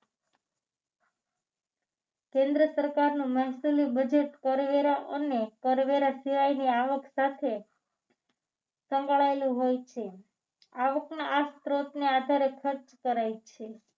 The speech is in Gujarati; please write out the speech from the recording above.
કેન્દ્ર સરકારનું મહેસૂલી budget કરવેરા અને કરવેરા સિવાયની આવક સાથે સંકળાયેલું હોય છે આવકના આ સ્ત્રોતને આધારે ખર્ચ કરાય છે